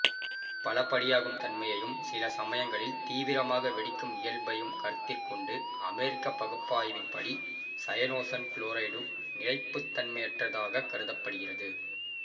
பலபடியாகும் தன்மையையும் சிலசமயங்களில் தீவிரமாக வெடிக்கும் இயல்பையும் கருத்திற்கொண்ட அமெரிக்கப் பகுப்பாய்வின்படி சயனோசன் குளோரைடு நிலைப்புத்தன்மையற்றதாகக் கருதப்படுகிறது